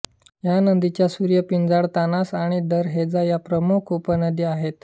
या नदीच्या सुर्यापिंजाळतानसा आणि दरहेजा या प्रमुख उपनद्या आहेत